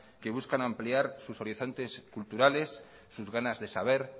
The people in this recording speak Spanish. que buscan ampliar sus horizontes culturales sus ganas de saber